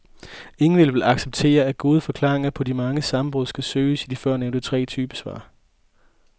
Ingen vil vel acceptere, at gode forklaringer på de mange sammenbrud skal søges i de førnævnte tre typesvar.